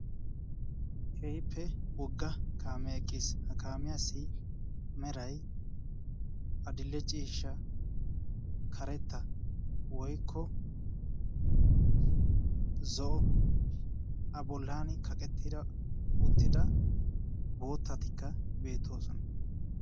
Keehippe wogga kaame eqqiis. ha kaamiyaasi meray adi'lle ciishsha karetta woikko zo7o a bolani kaqettida uttida boottatikka beettoosona.